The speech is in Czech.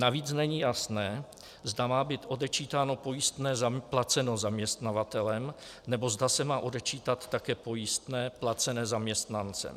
Navíc není jasné, zda má být odečítáno pojistné placené zaměstnavatelem, nebo zda se má odečítat také pojistné placené zaměstnancem.